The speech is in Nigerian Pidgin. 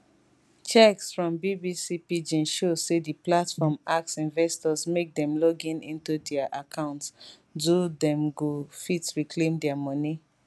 checks from bbc pidgin show say di platform ask investors make dem login into dia account do dem go fit reclaim dia money